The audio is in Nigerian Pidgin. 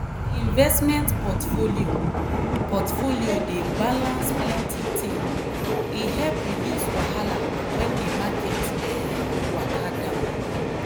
di investment portfolio portfolio dey balance plenty ting e help reduce wahala wen di market um waka down.